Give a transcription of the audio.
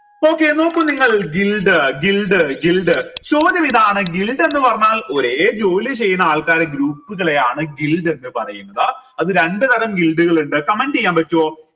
okay നോക്കു നിങ്ങൾ ചോദ്യം ഇതാണ് ന്ന് പറഞ്ഞാൽ ഒരേ ജോലി ചെയുന്ന ആൾക്കാരെ group കളെയാണ് ന്ന് പറയുന്നത് അത് രണ്ട് തരം കൾ ഇണ്ട് comment എയാൻ പറ്റുവോ